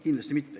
Kindlasti mitte.